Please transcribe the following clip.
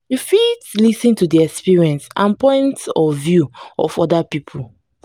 you fit lis ten to di experience and point of view of oda pipo